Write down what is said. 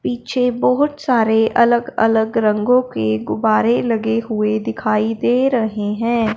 पीछे बहोत सारे अलग अलग रंगों के गुब्बारे लगे हुए दिखाई दे रहे हैं।